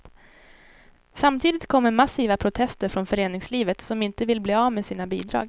Samtidigt kommer massiva protester från föreningslivet, som inte vill bli av med sina bidrag.